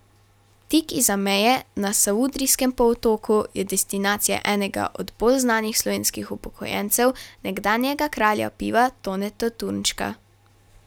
Tik izza meje, na savudrijskem polotoku, je destinacija enega od bolj znanih slovenskih upokojencev, nekdanjega kralja piva Toneta Turnška.